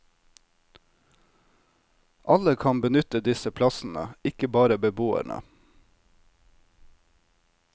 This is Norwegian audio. Alle kan benytte disse plassene, ikke bare beboerne.